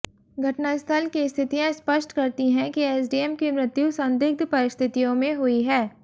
घटनास्थल की स्थितियां स्पष्ट करती हैं कि एसडीएम की मृत्यु संदिग्ध परिस्थितियों में हुई है